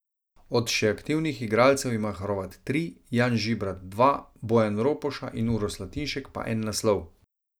Od še aktivnih igralcev ima Horvat tri, Jan Žibrat dva, Bojan Ropoša in Uroš Slatinšek pa en naslov.